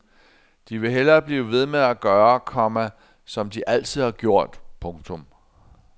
De vil hellere blive ved med at gøre, komma som de altid har gjort. punktum